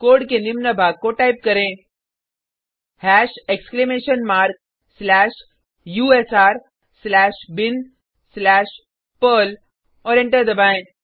code के निम्न भाग को टाइप करें hash exclamation mark slash U S R slash bin slash perl और एंटर दबाएँ